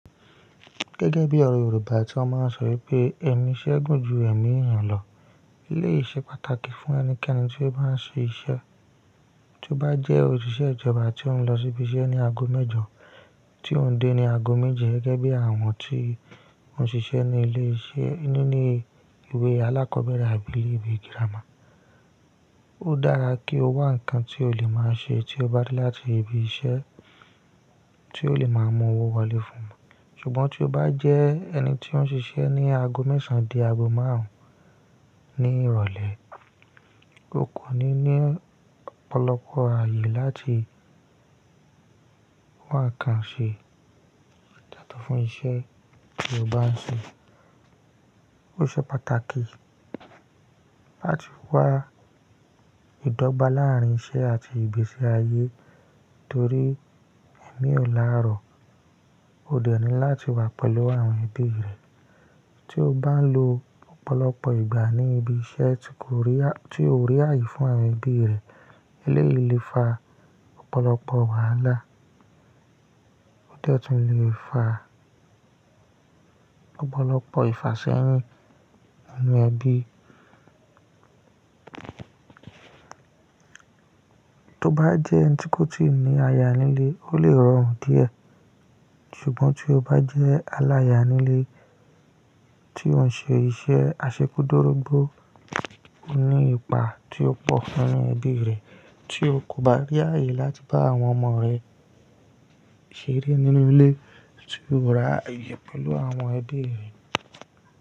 Gẹ́gẹ́ bí ọ̀rọ̀ Yorùbá tí wọ́n máa ń sọ wípé "ẹ̀mí iṣẹ́ gùn ju ẹ̀mí eyàn lọ", elèyi ṣe pàtàkì fún ẹnikẹ́ni tí ó bá ń ṣe iṣẹ́. Tí o bá jẹ́ òṣìṣẹ́ ìjọba tí ó ń lọ síbi iṣẹ́ ní ago mẹ́jọ, tí ó ń dé ní ago méje gẹ́gẹ́ bí àwọn tí wọ́n ṣiṣẹ́ ní ilé-iṣẹ́ nínú ilé ìwé alákọ̀ọ́bẹ̀rẹ̀ àbí ilé ìwé girama, ó dára kí o wá nǹkan tí o lè máa ṣe tí o bá dé láti ibi iṣẹ́ tí ó lè máa mú owó wọlé fún ọ. Ṣùgbọ́n tí o bá jẹ́ ẹni tí ó ń ṣiṣẹ́ ní ago mẹ́sàn án dé ago márùn-ún ní ìrọ̀lẹ́, o kò ní ní ọ̀pọ̀lọpọ̀ ààyè láti wá nǹkan ṣe yato fún iṣẹ́ tí o bá ń ṣe. Ó ṣe pàtàkì láti wá ìdọ́gba láàrín iṣẹ́ àti ibi iṣẹ́ ààyè torí ẹ̀mí òlárò ó dẹni láti wà pẹ̀lú àwọn ẹbí rẹ̀. Tí o bá lo ọ̀pọ̀lọpọ̀ ìgbà ní ibi iṣẹ́ tí kò rí tí o rí ààyè fún àwọn ẹbí rẹ, eléyìí lè fa ọ̀pọ̀lọpọ̀ wàhálà. Ó de tún lè fa ọ̀pọ̀lọpọ̀ ìfàṣẹ́yin aarin ẹbí. To bá jẹ́ ẹni tí kò tíì ní aya nílé, ó lè rọrùn díẹ̀. Ṣùgbọ́n tí o bá jẹ́ aláya nílé tí ó ń ṣe iṣẹ́ aṣekúdorógbó, ó ní ipa tí ó pọ̀ fún ẹbí rẹ̀ tí ó kò bá rí ààyè láti bá àwọn ọmọ rẹ̀ ṣeré nínú ilé tí ó rà ààyè pẹ̀lú àwọn ẹbí rẹ̀.